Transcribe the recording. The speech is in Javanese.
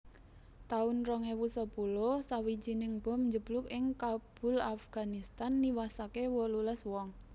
taun rong ewu sepuluh Sawijining bom njeblug ing Kabul Afganistan niwasaké wolulas wong